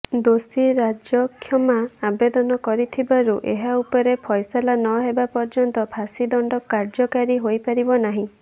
ଦୋଷୀ ରାଜକ୍ଷମା ଆବେଦନ କରିଥିବାରୁ ଏହା ଉପରେ ଫୈସଲା ନହେବା ପର୍ଯ୍ୟନ୍ତ ଫାଶୀଦଣ୍ଡ କାର୍ଯ୍ୟକାରୀ ହୋଇପାରିବ ନାହିଁ